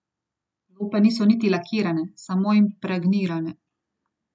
Lope niso niti lakirane, samo impregnirane.